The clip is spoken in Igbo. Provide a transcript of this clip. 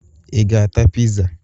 Ị ga-ata pịza?